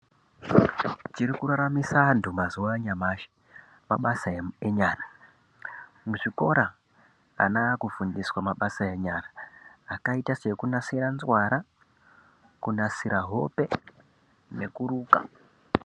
Chiri kuraramisa antu mazuwa anyamashi mabasa enyara. Muzvikora, ana akufundiswa mabasa enyara akaita sekunasira nzwara, kunasira hope nekuruka.